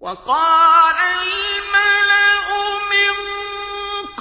وَقَالَ الْمَلَأُ مِن